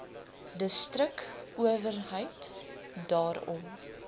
distrik owerheid daarom